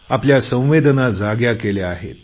आपल्या संवेदना जाग्या केल्या आहेत